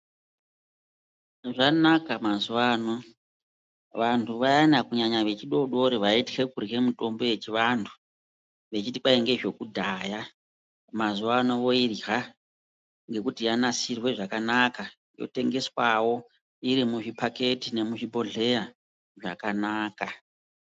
Zvanaka mazuvano vantu vayana vaitya kurya mutombo kunyanyanya vechidodori mitombo yechivantu vechiti kwai ngezvekudhaya , mazuvano voirye ngekuti yonasirwe zvakanaka yotengeswawo, irimuzviphaketi nemuzvibhodhera zvakanaka.